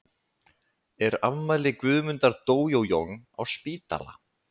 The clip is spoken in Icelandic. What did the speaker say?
er afmæli guðmundar dojojong á spítala